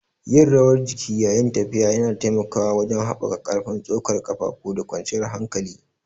Yin rawar jiki yayin tafiya yana taimakawa wajen haɓaka ƙarfin tsokar ƙafafu da kwanciyar hankali.